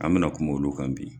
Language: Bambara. An mɛ na kuma olu kan bi.